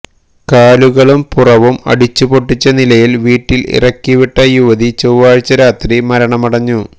കാലുകളും പുറവും അടിച്ചുപൊട്ടിച്ച നിലയില് വീട്ടില് ഇറക്കിവിട്ട യുവതി ചൊവ്വാഴ്ച രാത്രി മരണമടഞ്ഞു